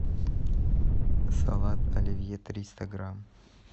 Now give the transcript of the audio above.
салат оливье триста грамм